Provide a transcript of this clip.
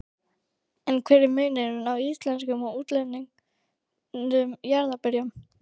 En hver er munurinn á íslenskum og útlendum jarðarberjum?